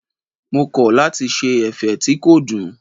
Mo kọ̀ lati ṣe ẹ̀fẹ̀ tí kò dùn.